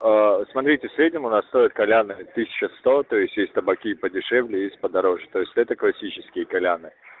смотрите в среднем у нас стоит кальян тысяча сто то есть есть табаки подешевле есть подороже то есть это классические кальяны